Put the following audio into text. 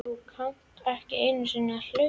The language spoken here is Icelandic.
Þú kannt ekki einu sinni að hlaupa